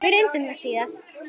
Við reyndum það síðara!